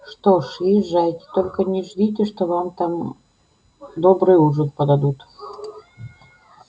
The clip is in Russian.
что ж езжайте только не ждите что вам там добрый ужин подадут